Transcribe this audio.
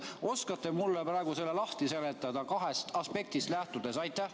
Oskate mulle praegu selle lahti seletada kahest aspektist lähtudes?